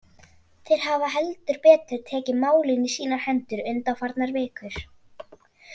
Þeir hafa heldur betur tekið málin í sínar hendur undanfarnar vikur.